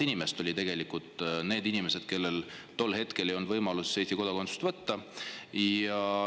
Ja meil oli 500 000 inimest, kellel tol hetkel ei olnud võimalust Eesti kodakondsust võtta.